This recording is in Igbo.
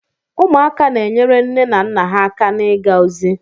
Ụmụaka na-enyere nne na nna ha aka n'iga ozi.